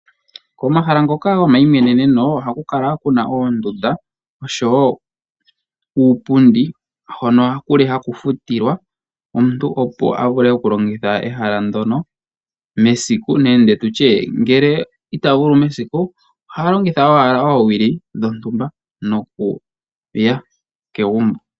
Komahala ngoka gomayimweneneno ohaku kala ku na oondunda, oshowo uupundi hono haku futilwa omuntu opo a vule okulongitha egala ndyoka mesiku nenge ngele ita vulu mesiku oha longitha owala oowili dhontumba nokuya kegumbo.